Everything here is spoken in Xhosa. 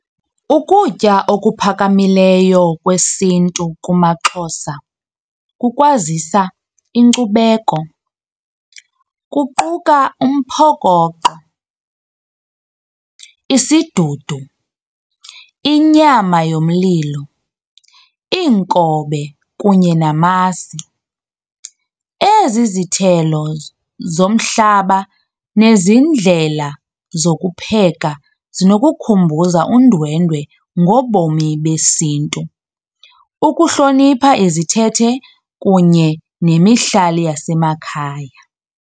Ukutya okuphakamileyo kwesiNtu kumaXhosa kukwazisa inkcubeko. Kuquka umphokoqo, isidudu, inyama yomlilo, iinkobe kunye namasi. Ezi zithelo zomhlaba nezi ndlela zokupheka zinokukhumbuza undwendwe ngobomi besiNtu, ukuhlonipha izithethe kunye nemihlali yasemakhaya.